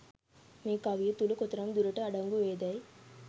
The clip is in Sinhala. මේ කවිය තුළ කොතරම් දුරට අඩංගු වේදැයි